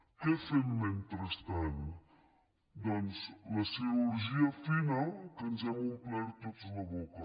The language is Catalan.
què fem mentrestant doncs la cirurgia fina que ens n’hem omplert tots la boca